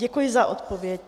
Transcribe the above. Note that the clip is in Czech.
Děkuji za odpověď.